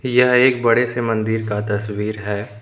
यह एक बडे से मंदिर का तस्वीर है।